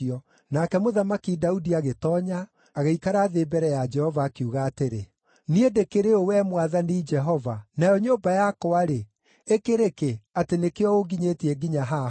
Nake Mũthamaki Daudi agĩtoonya, agĩikara thĩ mbere ya Jehova, akiuga atĩrĩ: “Niĩ ndĩkĩrĩ ũ, Wee Mwathani Jehova, nayo nyũmba yakwa-rĩ, ĩkĩrĩ kĩ, atĩ nĩkĩo ũnginyĩtie nginya haha?